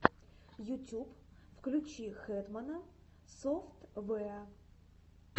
ютюб включи хэтмана софтвэа